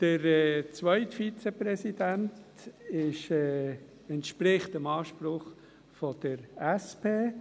Der zweite Vizepräsident entspricht dem Anspruch der SP.